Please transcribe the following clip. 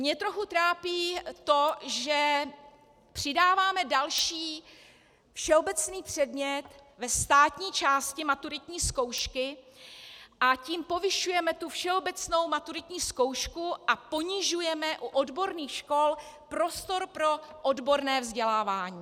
Mě trochu trápí to, že přidáváme další všeobecný předmět ve státní části maturitní zkoušky, a tím povyšujeme tu všeobecnou maturitní zkoušku a ponižujeme u odborných škol prostor pro odborné vzdělávání.